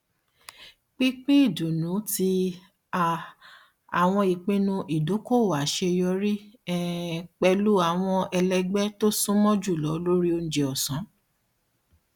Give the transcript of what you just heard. pínpín ìdùnnú ti um àwọn ìpinnu ìdókòowó aṣeyọrí um pẹlú àwọn ẹlẹgbẹ tó súnmọ jùlọ lórí oúnjẹ ọsán